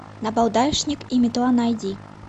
набалдашник и метла найди